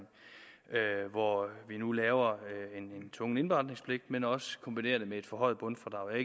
hvor vi nu laver en tvungen indberetningspligt men også kombinerer det med et forhøjet bundfradrag jeg